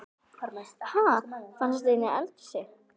Ha! Fannstu þetta inni í eldhúsi?